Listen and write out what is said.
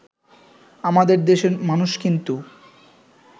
আমাদের দেশে মানুষ কিন্তু